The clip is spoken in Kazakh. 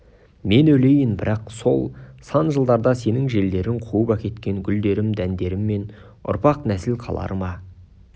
мен өлейін бірақ сол сан жылдарда сенің желдерің қуып әкеткен гүлдерім дәндерімнен ұрпақ нәсіл қалар ма